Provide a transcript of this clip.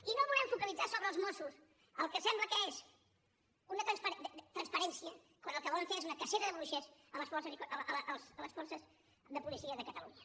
i no volem focalitzar sobre els mossos el que sembla que és transparència quan el que volen fer és una cacera de bruixes a les forces de policia de catalunya